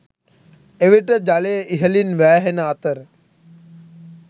එවිට ජලය ඉහළින් වෑහෙන අතර